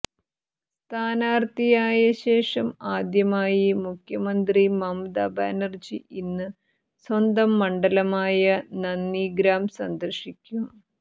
സ്ഥാനാർത്ഥിയായ ശേഷം ആദ്യമായി മുഖ്യമന്ത്രി മമതാ ബാനർജി ഇന്ന് സ്വന്തം മണ്ഡലമായ നന്ദിഗ്രാം സന്ദർശിക്കും